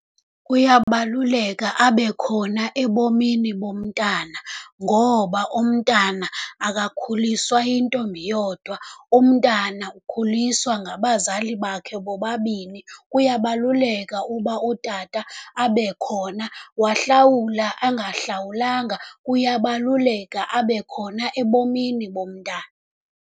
Kuyakubaluleka abekhona ebomini bomntana, ngoba umntwana akakhuliswa yintombi yodwa, umntwana ukhuliswa ngabazali bakhe bobabini. Kuyabaluleka uba utata abekhona, wahlawula engahlawulanga kuyabaluleka abekhona ebomini bomntana.